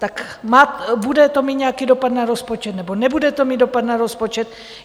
Tak bude to mít nějaký dopad na rozpočet, nebo nebude to mít dopad na rozpočet?